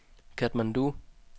Katmandu